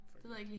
Fuck det